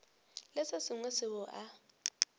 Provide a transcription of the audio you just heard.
le se sengwe seo a